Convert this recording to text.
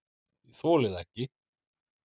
"""Ég þoli það ekki,"""